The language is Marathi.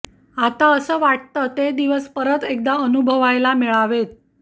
आता असं वाटतं ते दिवस परत एकदा अनुभवायला मिळावेत